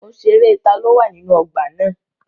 Mo ṣerẹ́ taló wà nínú ọgbà na.